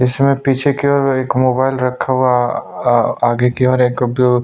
इसमें पीछे की और एक मोबाइल रखा हुआ आ आ आगे की और एक--